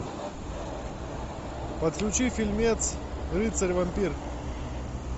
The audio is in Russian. подключи фильмец рыцарь вампир